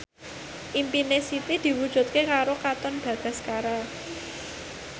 impine Siti diwujudke karo Katon Bagaskara